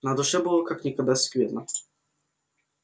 на душе было как никогда скверно